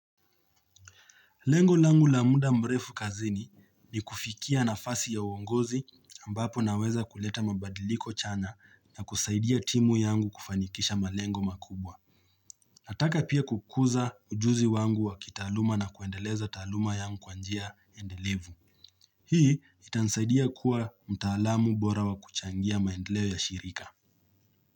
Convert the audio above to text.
Lengo langu la muda mrefu kazini ni kufikia na fasi ya uongozi ambapo naweza kuleta mabadiliko chana na kusaidia timu yangu kufanikisha malengo makubwa. Nataka pia kukuza ujuzi wangu wa kitaaluma na kuendeleza taluma yangu kwanjia endelevu. Hii itansaidia kuwa mtaalamu bora wa kuchangia maendeleo ya shirika.